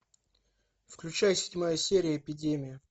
включай седьмая серия эпидемия